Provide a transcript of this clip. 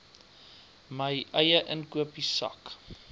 my eie inkopiesak